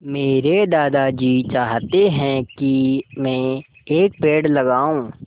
मेरे दादाजी चाहते हैँ की मै एक पेड़ लगाऊ